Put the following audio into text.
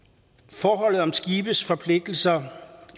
forholdet om skibes forpligtelser